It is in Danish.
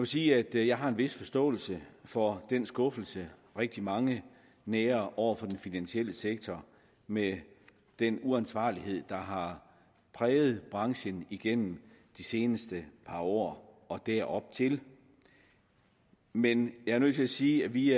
sige at jeg har en vis forståelse for den skuffelse rigtig mange nærer over for den finansielle sektor med den uansvarlighed der har præget branchen igennem de seneste par år og deroptil men jeg er nødt til at sige at vi